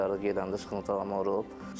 Toylara gedəndə sıxıntı olmuşam.